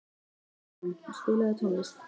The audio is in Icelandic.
Baldrún, spilaðu tónlist.